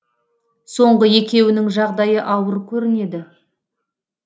соңғы екеуінің жағдайы ауыр көрінеді